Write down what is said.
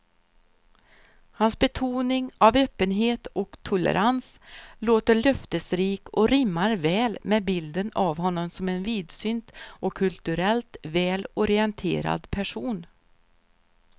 Hans betoning av öppenhet och tolerans låter löftesrik och rimmar väl med bilden av honom som en vidsynt och kulturellt väl orienterad person.